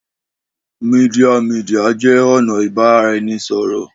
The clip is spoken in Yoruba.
Media media jẹ ọna ibaraẹnisọrọ